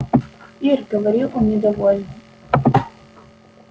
ир говорит он недовольно